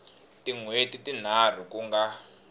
tin hweti tinharhu ku nga